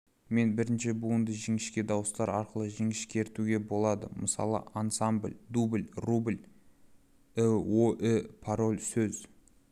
мен бірінші буында жіңішке дауыстылар арқылы жіңішкертуге болады мысалы ансамбль дубль рубль іоі-пароль сөз